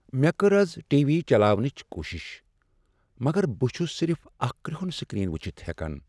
مےٚ کٔر آز ٹی وی چلاونٕچ کوشش مگر بہٕ چھس صرف اکھ كرہُن سكرین وچھِتھ ہیكان ۔